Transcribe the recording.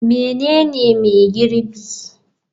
Menene mai girbi?